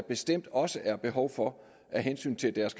bestemt også har behov for af hensyn til deres